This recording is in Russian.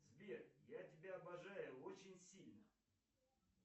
сбер я тебя обожаю очень сильно